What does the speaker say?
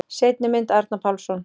Seinni mynd: Arnar Pálsson.